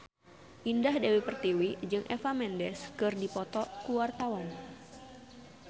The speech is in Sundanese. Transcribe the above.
Indah Dewi Pertiwi jeung Eva Mendes keur dipoto ku wartawan